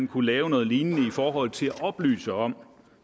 kunne laves noget lignende for at oplyse om